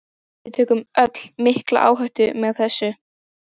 Við tökum öll mikla áhættu með þessu.